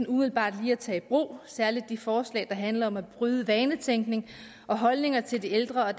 umiddelbart lige at tage brug særlig de forslag der handler om at bryde vanetænkning og holdningerne til de ældre og